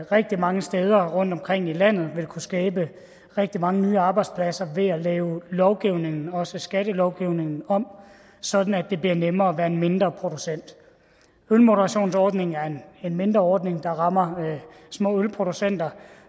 rigtig mange steder rundtomkring i landet vil kunne skabe rigtig mange nye arbejdspladser ved at lave lovgivningen også skattelovgivningen om sådan at det bliver nemmere at være en mindre producent ølmoderationsordningen er en mindre ordning der rammer små ølproducenter